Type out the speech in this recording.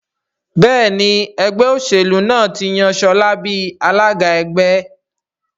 Béèni Ẹgbẹ́ òṣèlú náà tí yàn Shola bí alága ẹgbẹ́.